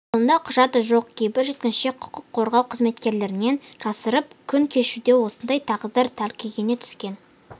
қолында құжаты жоқ кейбір жеткіншек құқық қорғау қызметкерлерінен жасырынып күн кешуде осындай тағдыр тәлкегіне түскен